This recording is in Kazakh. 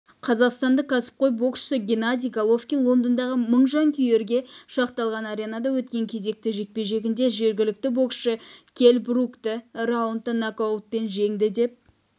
қазақстандық кәсіпқой боксшы геннадий головкин лондондағы мың жанкүйерге шақталған аренада өткен кезекті жекпе-жегінде жергілікті боксшы келл брукты раундта нокаутпен жеңді деп